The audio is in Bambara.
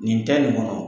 Nin ta nin kɔnɔ